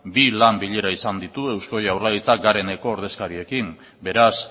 bi lan bilera izan ditu eusko jaurlaritzak gareneko ordezkariekin beraz